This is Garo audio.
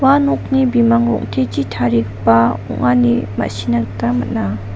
nokni bimang rong·techi tarigipa ong·a ine ma·sina gita man·a.